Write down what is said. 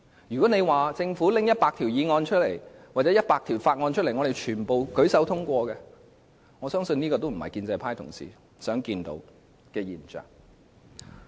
如果說政府向本會提交100項議案或法案，全部獲我們舉手通過，我相信這亦非建制派議員想看到的現象。